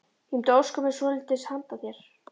Ég mundi óska mér svolítils handa þér!